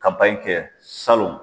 kɛ salon.